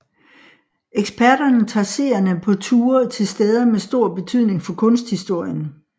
Eksperterne tager seerne på ture til steder med stor betydning for kunsthistorien